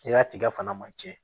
I ka tigɛ fana man tiɲɛ